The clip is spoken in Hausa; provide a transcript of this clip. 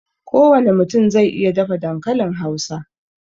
Ko wane mutum zai iya dafa dankalin Hausa